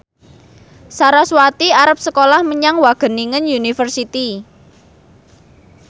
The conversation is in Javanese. sarasvati arep sekolah menyang Wageningen University